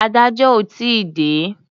Adájọ́ ò tí ì dé.